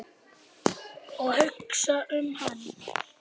Og hugsa um hann.